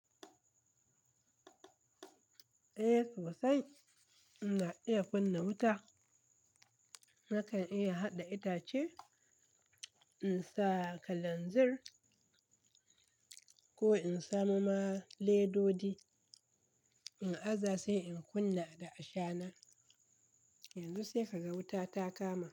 Eh to sai ina iya kunna wuta nakan iya hada itace in sa kalanzir ko in samu ma ledodi in aza sai in kunna da ashana. Yanzu sai ka ga wuta ta kama.